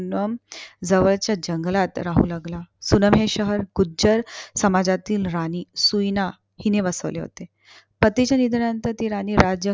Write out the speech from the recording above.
सुनम जवळच्या जंगलात राहू लागला. सुन्नम हे शहर गुज्जर समाजातील राणी सुइणा हिने बसवले होते. पतीच्या निधनानंतर ती राणी